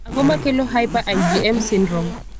Ang'o makelo hyper IgM syndrome?